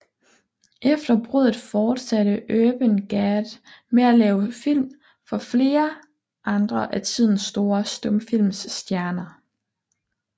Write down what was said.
Efter bruddet fortsatte Urban Gad med at lave film for flere andre af tidens store stumfilmsstjerner